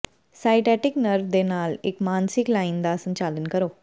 sciatic nerve ਦੇ ਨਾਲ ਇੱਕ ਮਾਨਸਿਕ ਲਾਈਨ ਦਾ ਸੰਚਾਲਨ ਕਰੋ